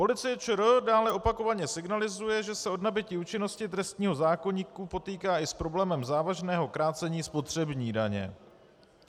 Policie ČR dále opakovaně signalizuje, že se od nabytí účinnosti trestního zákoníku potýká i s problémem závažného krácení spotřební daně.